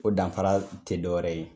O danfara te do yɛrɛ ye